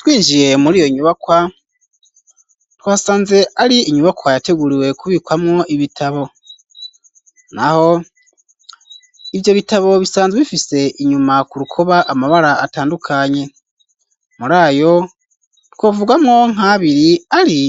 Twinjiye muri iyo nyubakwa, twasanze ari inyubakwa yateguriwe kubikwamwo ibitabo, naho ivyo bitabo bisanzwe bifise inyuma ku rukoba, amabara atandukanye; muri ayo twovugamwo nk'abiri, ari